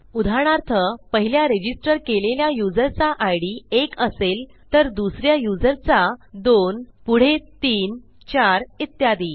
उदाहरणार्थ पहिल्या रजिस्टर केलेल्या युजरचा इद एक असेल तर दुस या युजरचा दोन पुढे तीन चार इत्यादी